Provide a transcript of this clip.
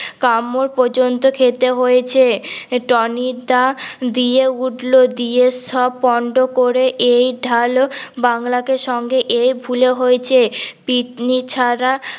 কামড় পর্যন্ত খেতে হয়েছে টনি দা দিয়ে উঠল দিয়ে সব পন্ড করে এই ঢাল বাংলাকে সঙ্গে এই ভুলে হয়েছে পিতনি ছাড়া